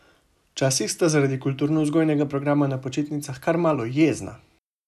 Včasih sta zaradi kulturno vzgojnega programa na počitnicah kar malo jezna!